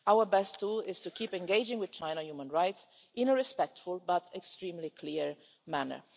Our best tool is to keep engaging with China human rights in a respectful but extremely clear manner.